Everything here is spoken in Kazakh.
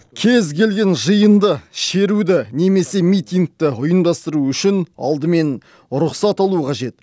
кез келген жиынды шеруді немесе митингті ұйымдастыру үшін алдымен рұқсат алу қажет